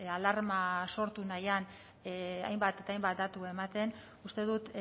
alarma sortu nahian hainbat eta hainbat datu ematen uste dut